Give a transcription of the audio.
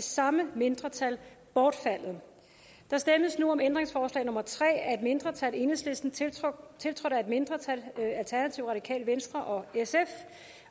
samme mindretal bortfaldet der stemmes nu om ændringsforslag nummer tre af et mindretal tiltrådt af et mindretal og